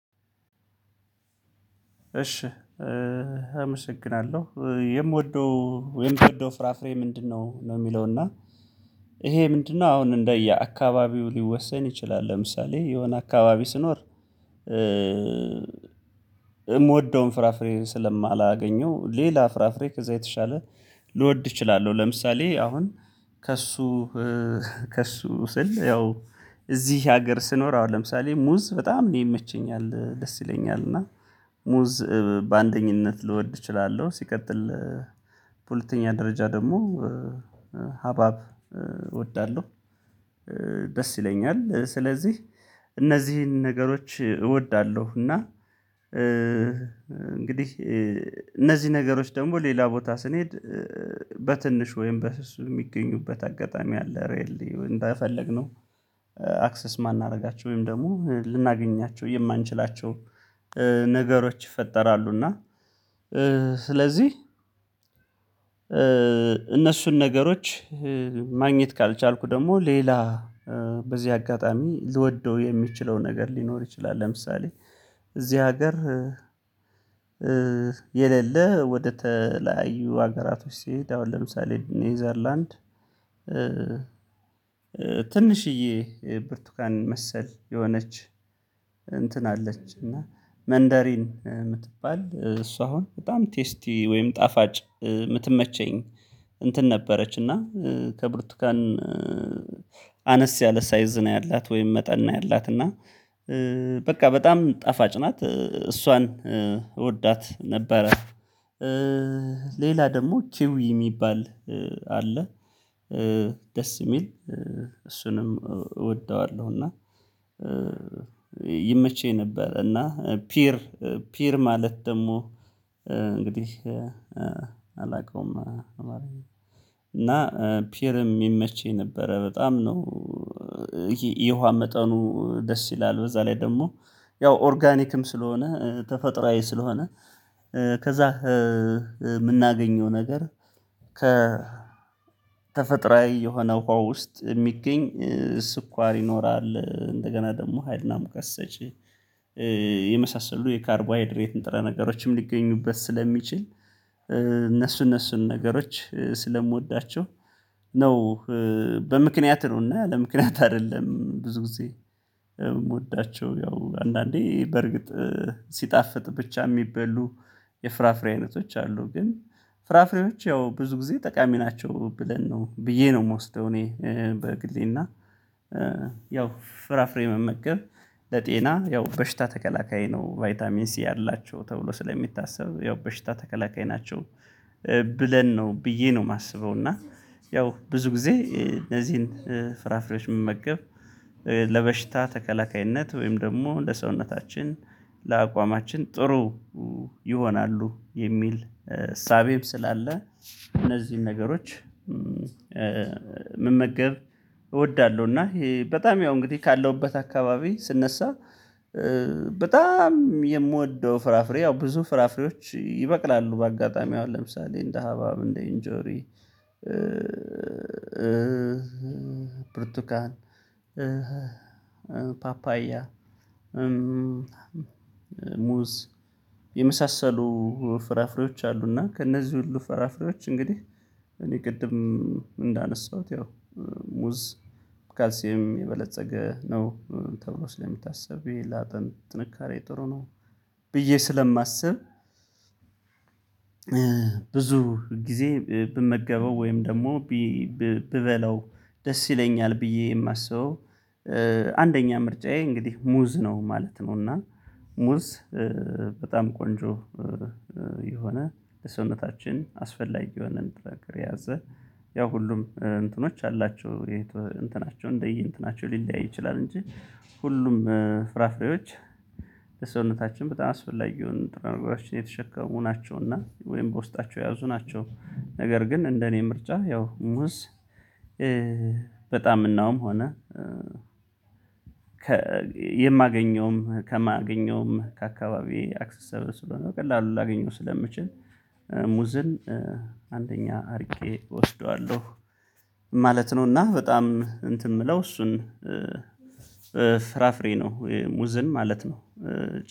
እሺ አመሰግናለሁ። የምወደው የምወደው ፍራፍሬ ምንድነው? ነው የሚለው እና ይሄ ምንድነው አሁን እንደ አካባቢው ሊወሰን ይችላል ለምሳሌ የሆነ አካባቢ ስኖር የምወደውን ፍራፍሬን ስለማላገኘው ሌላ ፍራፍሬ ከዛ የተሻለ ልወድ እችላለሁ ለምሳሌ አሁን ከእሱ ከእሱ ስል ያው እዚህ ሀገር ስኖር አሁን ለምሳሌ ሙዝ በጣም እኔ ይመቸኛል ደስ ይለኛል እና ሙዝ በአንደኝነት ልወድ እችላለሁ ሲቀጥል ሁለተኛ ደረጃ ደግሞ ሀባብ እወዳለሁ ደስ ይለኛል ስለዚህ እነዚህን ነገሮች እወዳለሁ እና እንግዲህ እነዚህ ነገሮች ደግሞ ሌላ ቦታ ስንሄድ በትንሽ ወይም በስሱ የሚገኙበት አጋጣሚ አለ ሪኤል ሊው እንደፈለግነው አክሰስ የማናደርጋቸው ወይም ደግሞ ልናገኛቸው የማንችላቸው ነገሮች ይፈጠራሉ እና ስለዚህ እነሱን ነገሮች ማግኘት ካልቻልኩ ደግሞ ሌላ በዚህ አጋጣሚ ልወደው የሚችለው ነገር ሊኖር ይችላል ለምሳሌ እዚህ ሀገር የሌለ ወደተለያዩ ሀገራቶች ሲሄድ አሁን ለምሳሌ ኔዘርላንድ ትንሽዬ ብርቱካን መሰል የሆነች እንትን አለች እና መንደሪን የምትባል እሷ አሁን በጣም ቴስቲ ወይም ጣፋጭ የምትመቸኝ እንትን ነበረች እና ከብርቱካን አነስ ያለ ሳይዝ ነው ያላት ወይም መጠን ነው ያላት እና በቃ በጣም ጣፋጭ ናት እሷን እወዳት ነበረ። ሌላ ደግሞ ኪዊ የሚባል አለ። ደስ የሚል እሱንም እወደዋለሁ እና ይመቸኝ ነበር እና ፒር ፒር ማለት ደግሞ እንግዲህ አላውቀውም እና ፒርም የሚመች ነበረ በጣም ነው ይሄ የውሃ መጠኑ ደስ ይላል በዛ ላይ ደግሞ ያው ኦርጋኒክም ስለሆነ ተፈጥሮአዊ ስለሆነ ከዛ የምናገኘው ነገር ከ ተፈጥሮአዊ የሆነ ውሃ ውስጥ የሚገኝ ስኳር ይኖራል እንደገና ደግሞ ሀይልና ሙቀት ሰጪ የመሳሰሉ የሃይድሬት ንጥረ ነገሮችም ሊገኙበት ስለሚችል እነሱን እነሱን ነገሮች ስለምወዳቸው ነው በምክንያት ነውና ያለምክንያት አይደለም ብዙ ጊዜ የምወዳቸው ያው አንዳንዴ በርግጥ ሲጣፍጥ ብቻ የሚበሉ የፍራፍሬ አይነቶች አሉ ግን ፍራፍሬዎች ያው ብዙ ጊዜ ጠቃሚ ናቸው ብለን ነው ብዬ ነው የምወስደው እኔ በግሌና ያው ፍራፍሬ መመገብ ለጤና ያው በሽታ ተከላካይ ነው ቫይታሚን ሲ አላቸው ተብሎ ስለሚታሰብ ያው በሽታ ተከላካይ ናቸው ብለን ነው ብዬ ነው የማስበው እና ያው ብዙ ጊዜ እነዚህን ፍራፍሬዎች ምመገብ ለበሽታ ተከላካይነት ወይም ደግሞ ለሰውነታችን ለአቋማችን ጥሩ ይሆናሉ የሚል እሳቤም ስላለ እነዚህን ነገሮች መመገብ እወዳለሁ እና በጣም ያው እንግዲህ ካለሁበት አካባቢ ስነሳ በጣም የምወደው ፍራፍሬ ያው ብዙ ፍራፍሬዎች ይበቅላሉ በአጋጣሚ አሁን ለምሳሌ እንደ ሀባብ እንደ ኢንጆሪ ብርቱካን፣ ፓፓያ፣ ሙዝ የመሳሰሉ ፍራፍሬዎች አሉና ከእነዚህ ሁሉ ፍራፍሬዎች እንግዲህ እኔ ቅድም እንዳነሳሁት ያው ሙዝ በካልሲየም የበለፀገ ነው ተብሎ ስለሚታሰብ ይሄ ላጥንት ጥንካሬ ጥሩ ነው ብዬ ስለማስብ ብዙ ጊዜ ብመገበው ወይም ደግሞ ቢ ብበለው ደስ ይለኛል ብዬ የማስበው አንደኛ ምርጫዬ እንግዲህ ሙዝ ነው ማለት ነው እና ሙዝ በጣም ቆንጆ የሆነ ለሰውነታችን አስፈላጊ የሆነ ንጥረ ነገር የያዘ ያው ሁሉም እንትኖች አላቸው የእንቶ እንትናቸው እንደይ እንትናቸው ሊለያይ ይችላል እንጂ ሁሉም ፍራፍሬዎች ለሰውነታችን በጣም የሆኑ ንጥረ ነገሮችን የተሸከሙ ናቸውና ወይም በውስጣቸው ያዙ ናቸው። ነገር ግን እንደኔ ምርጫ ያው ሙዝ በጣምናውም ሆነ የማገኘውም ከማገኘውም ከአካባቢ አክሰሰብል ስለሆነ በቀላሉ ላገኘው ስለምችል አንደኛ አድርጌ እወስደዋለሁ ማለት ነው እና በጣም እንትን የምለው እሱን በፍራፍሬ ነው ሙዝን ማለት ነው